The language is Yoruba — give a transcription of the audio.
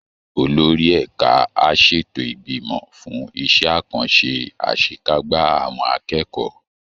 Olórí ẹ̀ka á ṣètò ìgbìmọ̀ fún iṣẹ́ àkànṣe àṣekágbá àwọn akẹ́kọ̀ọ́